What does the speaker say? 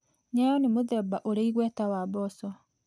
Nyayo nĩ mũthemba ũrĩ igweta wa mboco.